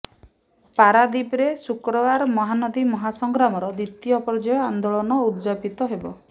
ପାରାଦୀପରେ ଶୁକ୍ରବାର ମହାନଦୀ ମହାସଂଗ୍ରାମର ଦ୍ବିତୀୟ ପର୍ଯ୍ୟାୟ ଆନ୍ଦୋଳନ ଉଦଯାପିତ ହେବ